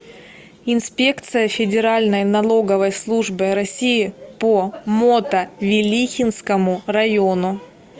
инспекция федеральной налоговой службы россии по мотовилихинскому району